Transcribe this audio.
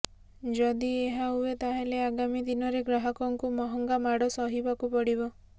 ଯଦି ଏହା ହୁଏ ତାହେଲେ ଆଗାମୀ ଦିନରେ ଗ୍ରାହକଙ୍କୁ ମହଙ୍ଗା ମାଡ଼ ସହିବାକୁ ପଡ଼ିବ